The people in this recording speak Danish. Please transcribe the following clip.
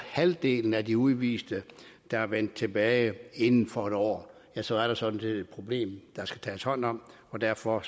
halvdelen af de udviste der er vendt tilbage inden for en år så er der sådan set et problem der skal tages hånd om derfor